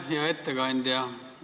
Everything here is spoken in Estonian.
Hea ettekandja!